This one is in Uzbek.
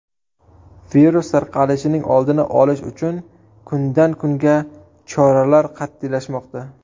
Virus tarqalishining oldini olish uchun kundan kunga choralar qat’iylashmoqda.